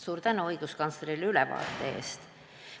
Suur tänu õiguskantslerile ülevaate eest!